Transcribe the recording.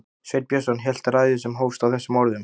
Sveinn Björnsson hélt ræðu sem hófst á þessum orðum